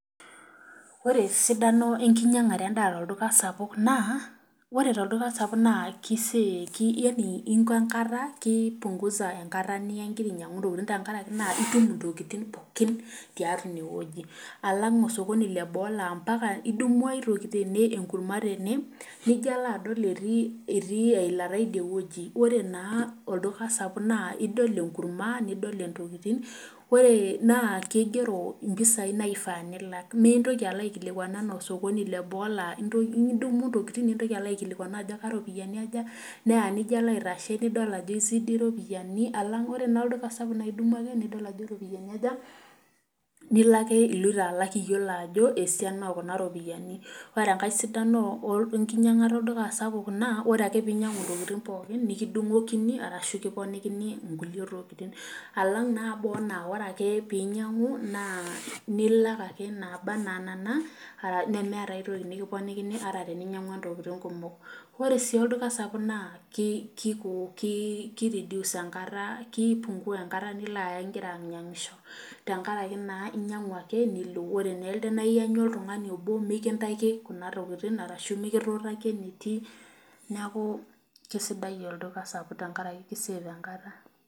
Ore esiadano enkinyangare endaa tolduka sapuk naa, ore tolduka sapuk naa keipunguza enkata niya ingira ainyangu ntokiting tenkaraki itum intokiting pookin tiatua ineweji lang osokoni Lebo laa idumu ai toki ,idol enkurma tene nijo alo adol etii eilata idie weji ore naa ore naa tolduka sapuk idol enkurma nidol intokiting naas keigero ompisai naifaa nilak. mee intoki alo aikilikwanu anaa osokoni leboo laa idumu ntokiting nintoki alo aikilikuanu ajo iropiyiani aja ,neya nilo aitashe nidol ajo eisidi iropiyiani lang ore naa olduka sapuk naa idumu ake nidol ajo ropiani aja ,nilo ake oloito alak iyiolo ajo esiana oo Kuna ropiani .ore enkae sidano enkinyangata olduka sapuk naa ore ake pee inyangu ntokiting pookin nikidungokini orashu kiponikini nkulie tokiting alang naa boo naa ore ake pee inyangu nilak ake naaba anaa nena nemeeta aitoki nikiponikini ata teninyangua ntokiting kumok .ore sii olduka sapuk naa keipungua enkata nilo aya ingira ainyangisho tenkaraki naa inyangu ake nilo. ore naa elde naa iyanyu oltungani obo mikintaiki Kuna tokiting orashu mikituutakki eneti neeku keisidai olduka sapuk tenkaraki keisafe enkata.